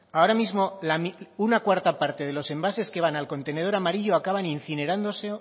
ahora mismo una cuarta parte de los envases que van al contenedor amarillo acaban incinerándose